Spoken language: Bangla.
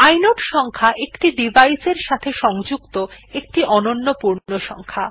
ইনোড সংখ্যা একটি ডিভাইস এর সাথে সংযুক্ত একটি অনন্য পূর্ণসংখ্যা